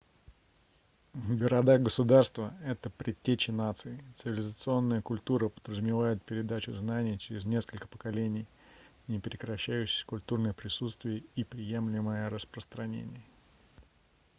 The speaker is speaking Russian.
города-государства это предтечи наций цивилизационная культура подразумевает передачу знаний через несколько поколений непрекращающееся культурное присутствие и преемлимое распространение